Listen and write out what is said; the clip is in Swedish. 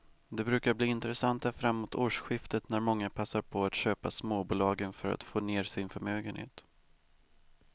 De brukar bli intressanta framåt årsskiftet när många passar på att köpa småbolagen för att få ner sin förmögenhet.